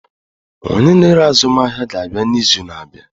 Onye na-ere ahịa azụmaahịa ga-abịa n'izu na-abịa.